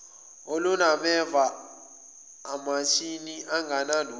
olunameva amathini angenalutho